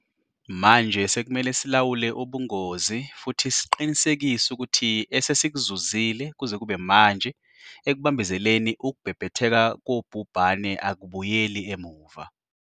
Manje sekumele silawule ubungozi futhi siqinisekise ukuthi esesikuzuzile kuze kube manje ekubambezeleni ukubhebhetheka kobhubhane akubuyeli emuva.